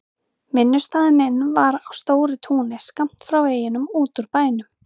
Vinnustaður minn var á stóru túni skammt frá veginum út úr bænum.